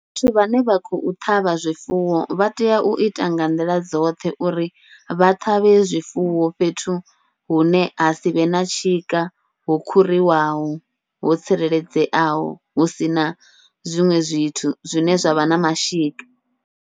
Vhathu vhane vha khou ṱhavha zwifuwo, vha tea uita nga nḓila dzoṱhe uri vha ṱhavhe zwifuwo fhethu hune ha sivhe na tshika ho khuriwaho ho tsireledzeaho hu sina zwiṅwe zwithu zwine zwa vha na mashika.